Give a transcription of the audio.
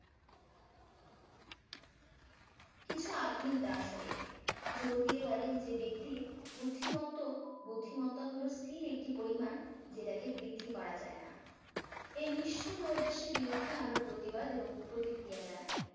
কিছু আধুনিক দার্শনিক জোর দিয়ে বলেন যে ব্যক্তির বুদ্ধিমত্ত বুদ্ধিমত্তা হলো স্থির একটি পরিমান যেটাকে বৃদ্ধি করা যায় না এই নিষ্ঠূর নৈরাশ্যের বিরুদ্ধে আমরা প্রতিবাদ এবং প্রতিক্রিয়া জানাই